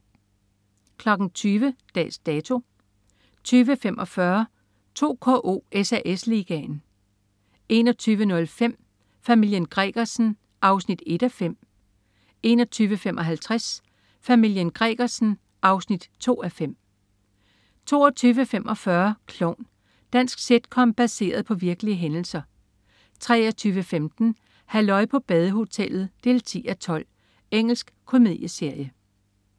20.00 Dags Dato 20.45 2KO: SAS Ligaen 21.05 Familien Gregersen 1:5 21.55 Familien Gregersen 2:5 22.45 Klovn. Dansk sitcom baseret på virkelige hændelser 23.15 Halløj på badehotellet 10:12. Engelsk komedieserie